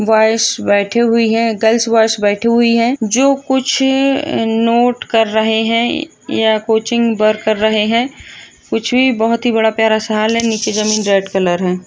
Boys बैठी हुई है गर्ल्स बॉयस बैठी हुई है जो कुछ नोट कर रहे है या कोचिंग वर्क कर रहे है कुछ भी बहोत ही बड़ा प्यारा सा हॉल है नीचे जमीन रेड कलर है।